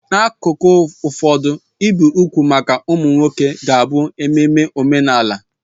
N'akụkụ ụfọdụ, ibi úgwù maka ụmụ nwoke ka bụ ememe omenala.